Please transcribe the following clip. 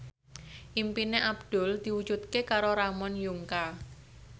impine Abdul diwujudke karo Ramon Yungka